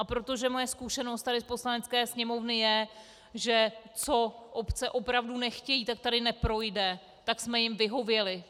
A protože moje zkušenost tady v Poslanecké sněmovně je, že co obce opravdu nechtějí, tak tady neprojde, tak jsme jim vyhověli.